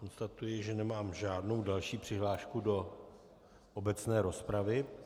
Konstatuji, že nemám žádnou další přihlášku do obecné rozpravy.